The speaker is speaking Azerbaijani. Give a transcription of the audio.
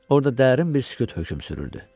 Orda dərin bir sükut hökm sürürdü.